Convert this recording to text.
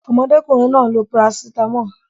Omo okunrin naa n lo paracetamol.